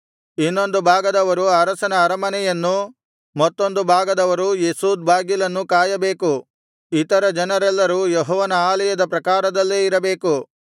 ಇನ್ನೊಂದು ಭಾಗದವರು ಅರಸನ ಅರಮನೆಯನ್ನೂ ಮತ್ತೊಂದು ಭಾಗದವರು ಯೆಸೋದ್ ಬಾಗಿಲನ್ನೂ ಕಾಯಬೇಕು ಇತರ ಜನರೆಲ್ಲರೂ ಯೆಹೋವನ ಆಲಯದ ಪ್ರಾಕಾರದಲ್ಲೇ ಇರಬೇಕು